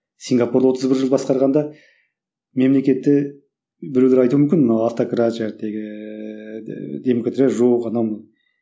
сингапурды отыз бір жыл басқарғанда мемлекетті біреулер айтуы мүмкін демократия жоқ анау мынау